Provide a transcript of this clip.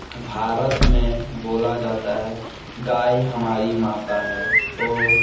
भारत में बोला जाता है गाय हमारी माता है और --